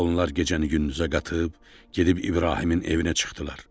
Onlar gecəni gündüzə qatıb gedib İbrahimin evinə çıxdılar.